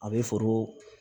A bɛ foro